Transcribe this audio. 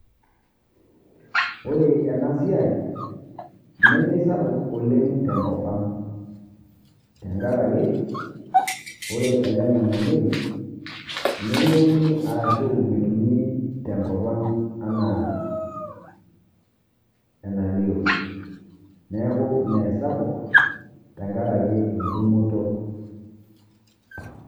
Ore enasiai, nemisapuk oleng' tenkop ang'. Tenkaraki, ore ele ng'anayioi, nemeuni arashu metumi tenkop ang' anaa enalio. Neeku meesapuk, tenkaraki entumoto.